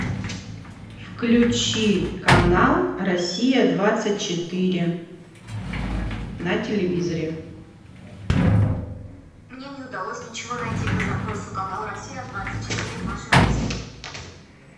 включи канал россия двадцать четыре на телевизоре